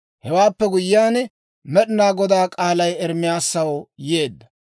Hewaappe guyyiyaan, Med'inaa Godaa k'aalay Ermaasaw yeedda.